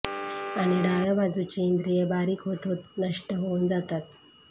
आणि डाव्या बाजूची इंद्रिये बारीक होत होत नष्ट होऊन जातात